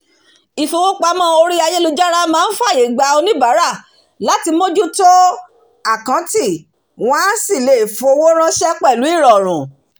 ifowópamọ́ orí ayélujára máa ń fàyè gba onibaara láti mójútó àkáǹtì wọn á sì lè fọwọ́ ránṣẹ́ pẹ̀lú ìrọ̀rùn